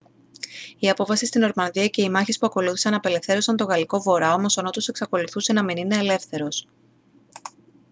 η απόβαση στη νορμανδία και οι μάχες που ακολούθησαν απελευθέρωσαν τον γαλλικό βορρά όμως ο νότος εξακολουθούσε να μην είναι ελεύθερος